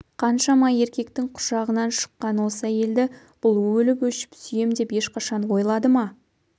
қаншама еркектің құшағынан шыққан осы әйелді бұл өліп-өшіп сүйем деп ешқашан ойлады ма